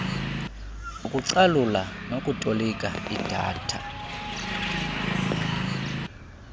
ukucalula nokutolika idata